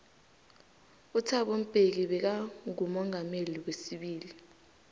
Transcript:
uthabo mbeki beka ngomongameli weibili